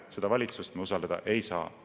Seda valitsust me usaldada ei saa.